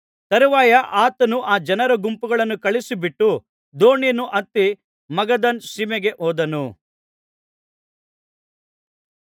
ತರುವಾಯ ಆತನು ಆ ಜನರ ಗುಂಪುಗಳನ್ನು ಕಳುಹಿಸಿ ಬಿಟ್ಟು ದೋಣಿಯನ್ನು ಹತ್ತಿ ಮಗದಾನ್ ಸೀಮೆಗೆ ಹೋದನು